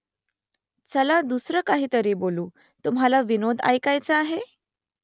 चला दुसरं काहीतरी बोलू तुम्हाला विनोद ऐकायाचा आहे ?